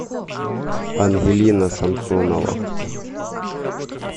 ангелина самсонова